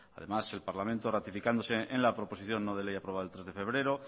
además el parlamento ratificándose en la proposición no de ley aprobada el tres de febrero